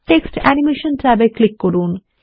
text animation ট্যাবে click করুন